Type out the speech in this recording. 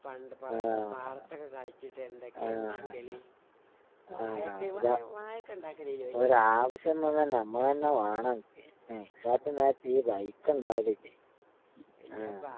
പണ്ട് പാടത്തൊക്കെ കളിച്ചിട്ട് എന്തൊക്കെയാ ഇണ്ടാക്കല്? വാഴയൊക്കെ വാഴ വാഴയൊക്കിണ്ടാക്കലില്ല വല്ല്യാപ്പ. വല്ല്യാപ്പാ.